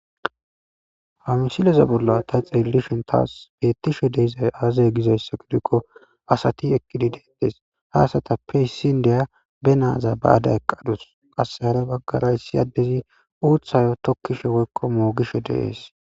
Ha misileza bolla ta xelishn tas betishe dizay aze gizaysa gidikon asat eqid detes ha asatappe issi indiya be naza ba'ada eqadus qase hara bagara issi adey utha tokishe woyko mogishe de'es.